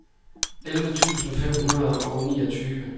elleve tusind fem hundrede og niogtyve